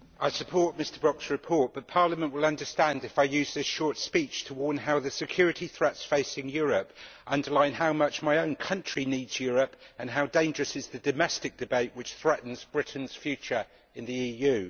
Madam President, I support Mr Brok's report, but Parliament will understand if I use this short speech to warn how the security threats facing Europe underline how much my own country needs Europe and how dangerous is the domestic debate which threatens Britain's future in the EU.